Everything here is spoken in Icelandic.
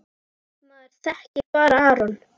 Maður þekkir bara Aron.